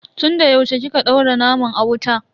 Tun da yaushe kika daura naman a wuta?